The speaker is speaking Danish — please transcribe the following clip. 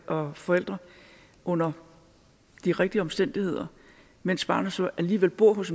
og forældre under de rigtige omstændigheder mens barnet så alligevel bor hos